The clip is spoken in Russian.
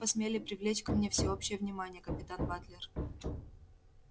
как вы посмели привлечь ко мне всеобщее внимание капитан батлер